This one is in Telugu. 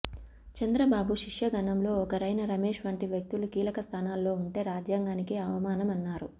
చంద్రబాబు శిష్యగణంలో ఒకరైన రమేష్ వంటి వ్యక్తులు కీలకస్థానాల్లో ఉంటే రాజ్యాంగానికి అవమానమన్నారు